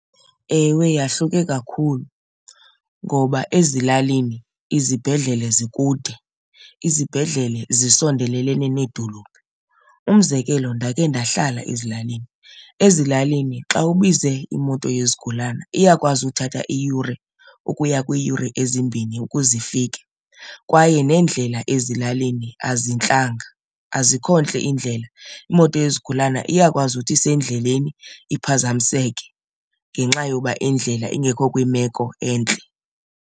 Ewe, yahluke kakhulu. Ngoba ezilalini izibhedlele zikude izibhedlele zisondelelene needolophu. Umzekelo, ndake ndahlala ezilalini, ezilalini xa ubize imoto yezigulana iyakwazi uthatha iyure ukuya kwiiyure ezimbini ukuze ifike. Kwaye neendlela ezilalini azintlanga, azikho ntle iindlela. Imoto yezigulana iyakwazi uthi isendleleni iphazamiseke ngenxa yoba indlela ingekho kwimeko entle.